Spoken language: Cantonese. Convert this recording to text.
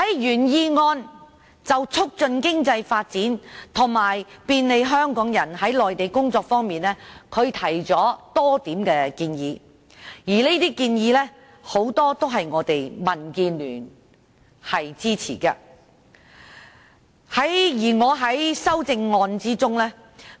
原議案就促進經濟發展及便利香港人在內地工作方面，提出了多項建議，而很多建議都是民主建港協進聯盟所支持的。